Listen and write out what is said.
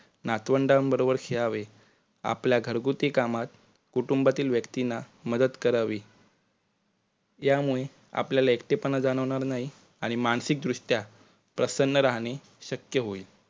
नातवंडांबरोबर खेळावे. आपल्या घरगुती कामात कुटुंबातील व्यक्तींना मदत करावी यामुळे आपल्याला एकटेपणा जाणवणार नाही, आणि मानसिक दृष्ट्या प्रसन्न राहणे शक्य होईल.